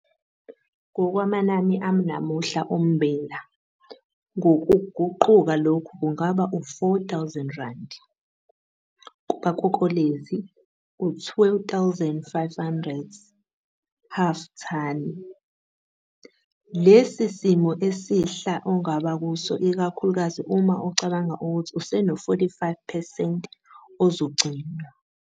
Ngokwamanani anamuhla ommbila ngokuguquka lokhu kungaba u-R4 000, u-R2 500 per thani. Lesi isimo esihla ongaba kuso ikakhulukazi uma ucabanga ukuthi useno-45 percent ozogcinwa.